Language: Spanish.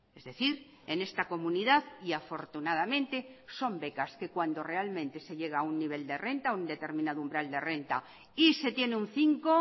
es decir en esta comunidad y afortunadamente son becas que cuando realmente se llega a un nivel de renta a un determinado umbral de renta y se tiene un cinco